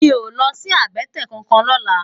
Mi ó lòsi àbètè kánkán lòlá